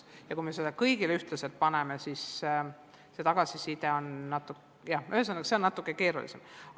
Ja kui me seda kõigilt nõuaksime, siis see tagasiside oleks, jah, üsna erinev.